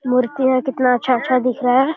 मूर्तियां कितना अच्छा अच्छा दिख रहा है।